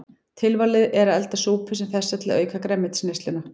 Tilvalið er að elda súpu sem þessa til að auka grænmetisneysluna.